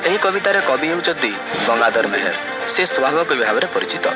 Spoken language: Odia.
ଏହି କବିତାରେ କବି ହେଉଛନ୍ତି ଗଙ୍ଗାଧର ମେହେରେ ସେ ବିଭାଗ ରେ ପରିଚିତ।